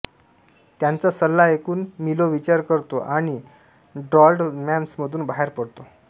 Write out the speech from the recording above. त्याचा सल्ला ऐकून मिलो विचार करतो आणि डॉल्ड्रम्समधून बाहेर पडतो